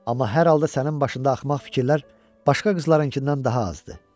Amma hər halda sənin başında axmaq fikirlər başqa qızlarınkından daha azdır.